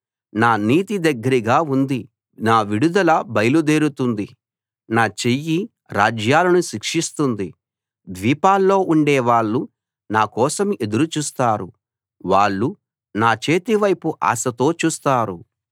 నా నీతి దగ్గరగా ఉంది నా విడుదల బయలుదేరుతుంది నా చెయ్యి రాజ్యాలను శిక్షిస్తుంది ద్వీపాల్లో ఉండేవాళ్ళు నా కోసం ఎదురు చూస్తారు వాళ్ళు నా చేతి వైపు ఆశతో చూస్తారు